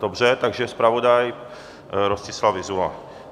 Dobře, takže zpravodaj Rostislav Vyzula.